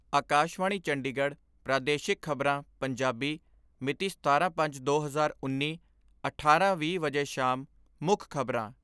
ਆਕਾਸ਼ਵਾਣੀ ਚੰਡੀਗੜ ਪ੍ਰਾਦੇਸ਼ਿਕ ਖਬਰਾਂ, ਪੰਜਾਬੀ ਮਿਤੀ ਸਤਾਰਾਂ ਪੰਜ ਦੋ ਹਜ਼ਾਰ ਉੱਨੀ, ਅਠਾਰਾਂ ਵੀਹ ਵਜੇ ਸ਼ਾਮ ਮੁੱਖ ਖਬਰਾਂ